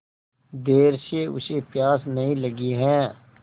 देर से उसे प्यास नहीं लगी हैं